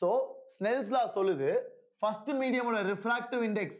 so smells law சொல்லுது first medium ஓட refractive index